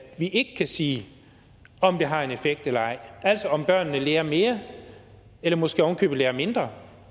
vi ikke kan sige om det har en effekt eller ej altså om børnene lærer mere eller måske ovenikøbet lærer mindre